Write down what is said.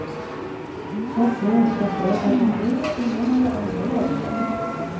For sent forstår han at livet inneholder andre verdier.